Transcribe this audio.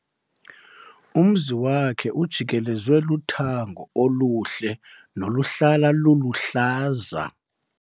Umzi wakhe ujikelezwe luthango oluhle noluhlala luluhlaza.